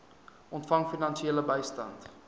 ontvang finansiële bystand